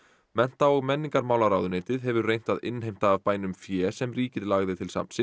mennta og menningarmálaráðuneytið hefur reynt að innheimta af bænum fé sem ríkið lagði til safnsins